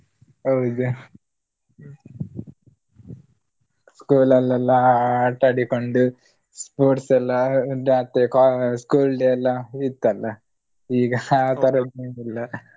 ಹೌದು school ಅಲ್ಲಿ ಎಲ್ಲ ಆಟಾಡಿಕೊಂಡು sports ಎಲ್ಲ school day ಎಲ್ಲ ಇತ್ತಲ್ಲ ಈಗ ಆತರದ್ದೇನಿಲ್ಲ.